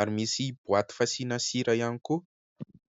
ary misy boaty fasiana sira ihany koa.